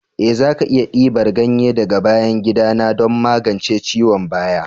Eh za ki iya dibar ganye daga bayan gida na don magance ciwon baya.